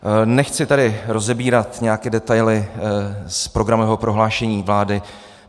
Nechci tady rozebírat nějaké detaily z programového prohlášení vlády.